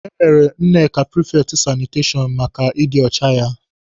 E mere Nneka prifekti sanitashọn maka ịdị ọcha ya.